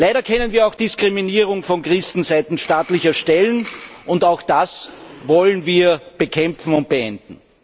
Leider kennen wir auch Diskriminierung von Christen seitens staatlicher Stellen, und auch das wollen wir bekämpfen und beenden.